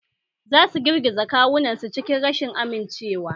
Za su girgiza kawunansu cikin rashin amincewa